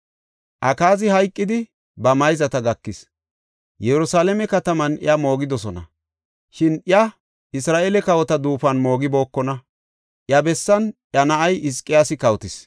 Akaazi hayqidi, ba mayzata gakis. Yerusalaame kataman iya moogidosona; shin iya Isra7eele kawota duufuwan moogibookonna. Iya bessan iya na7ay Hizqiyaasi kawotis.